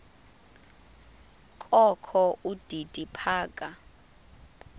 kokho udidi phaka